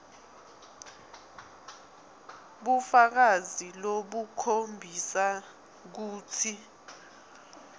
bufakazi lobukhombisa kutsi